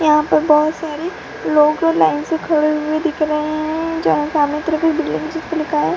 यहाँ पे बाहत से लोग लाइन से खड़े हुए दिख रहे है जहा सामने के तरफ बिल्डिंग हे जिसपे लिखा है --